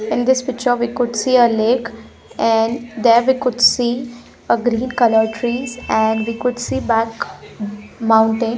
In this picture we could see a lake and there we could see a green color trees and we could see back mountain.